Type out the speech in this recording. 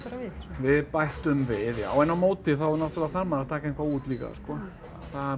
við bættum við já en á móti þá þarf maður að taka eitthvað út líka það